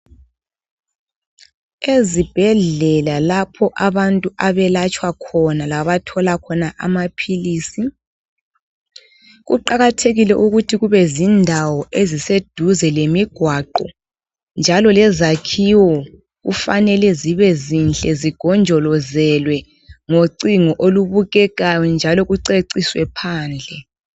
Ezibhedlela, lapho abantu abelatshwa khona. Labathola khona amaphilisi, kuqakathekile ukuthi kubezindawo eziseduze lemimgwaqo, njalo lezakhiwo kufanele zibezinhle. Zigonjolozelwe ngocingo olubukekayo, njalo kuceciswe phandle.